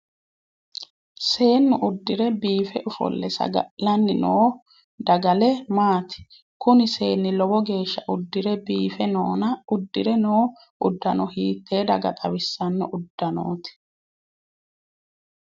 Seenu uderi biife ofolle saga'lanni noo dagale maati? Kunni seenni lowo geesha udere biife noonna udire noo udanno hiitee daga xawisanno udanooti?